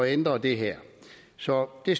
ændre det her så de